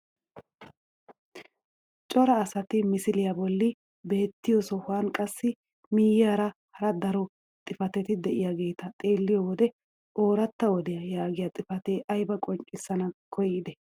Cora asati misiliyaa bolli beettiyoo sohuwaan qassi miyiyaara hara daro xifatetti de'iyaageta xeelliyoo wode "Ooratta wodiyaa" yaagiyaa xifatee aybaa qonccisana koyidee?